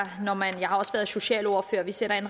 har også været socialordfører og vi sætter en